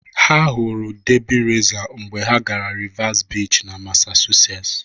Ha hụrụ Derby Racer mgbe ha gara Revere Beach na Massachusetts.